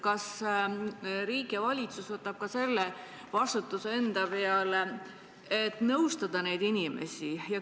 Kas riik ja valitsus võtavad enda peale ka vastutuse nõustada neid inimesi?